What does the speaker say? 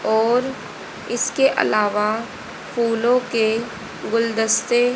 और इसके अलावा फूलों के गुलदस्तें--